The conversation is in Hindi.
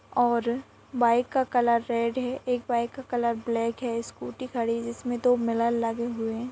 और बाइक का कलर रेड हैं एक बाइक का कलर ब्लैक हैं स्कूटी खड़ी हैं जिसमे दो मिरर लगे हुए हैं।